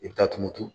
I bɛ taa tumu turu